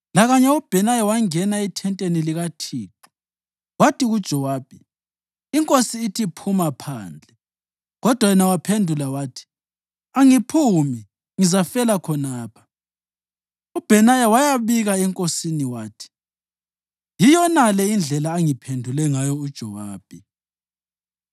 Lakanye uBhenaya wangena ethenteni likaThixo wathi kuJowabi, “Inkosi ithi, ‘Phuma phandle!’ ” Kodwa yena waphendula wathi, “Angiphumi, ngizafela khonapha.” UBhenaya wayabika enkosini wathi, “Yiyonale indlela angiphendule ngayo uJowabi.”